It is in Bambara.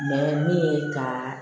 min ye ka